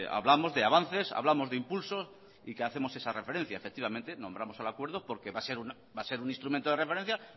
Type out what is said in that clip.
hablamos de avances hablamos de impulsos y que hacemos esa referencia efectivamente nombramos al acuerdo porque va a ser un instrumento de referencia